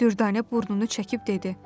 Düvdanə burnunu çəkib dedi.